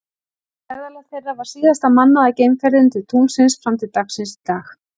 Ferðalag þeirra var síðasta mannaða geimferðin til tunglsins fram til dagsins í dag.